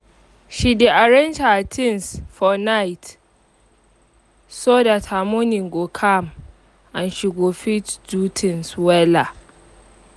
she dey arrange her things for night so that her morning go calm and she go fit do things wella